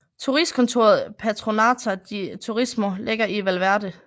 Turistkontoret Patronato de Turismo ligger i Valverde